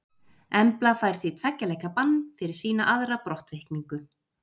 Embla fær því tveggja leikja bann fyrir sína aðra brottvikningu.